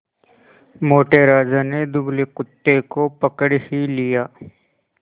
मोटे राजा ने दुबले कुत्ते को पकड़ ही लिया